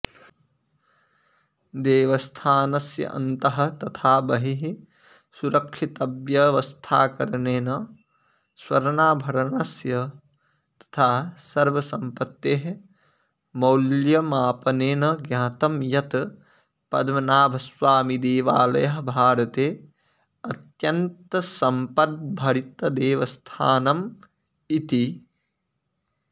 देवस्थानस्य अन्तः तथा बहिः सुरक्षितव्यवस्थाकरणेन स्वर्णाभरणस्य तथा सर्वसंपत्तेः मौल्यमापनेन ज्ञातम् यत् पद्मनाभस्वामिदेवालयः भारते अत्यन्तसम्पद्भरितदेवस्थानमिति